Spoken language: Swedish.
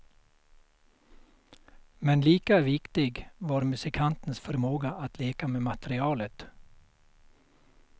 Men lika viktig var musikantens förmåga att leka med materialet.